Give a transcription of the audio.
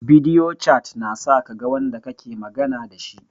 Bidiyo cat na sa kaga wanda kake magana dashi